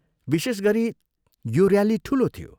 विशेष गरी यो ऱ्याली ठुलो थियो।